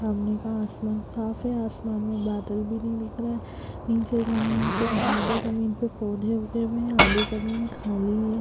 सामने का आसमान साफ़ है आसमान में बादल भी नहीं दिख रहें हैं। निचे जमीन पे आधे जमीन पे पौधे उगे हुए हैं आधी जमीन खाली है।